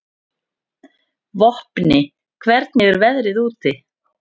Vopni, hvernig er veðrið úti?